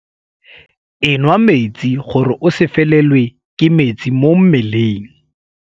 Enwa metsi gore o se felelwe ke metsi mo mmeleng.